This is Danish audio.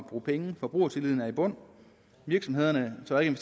bruge penge forbrugertilliden er i bund virksomhederne tør ikke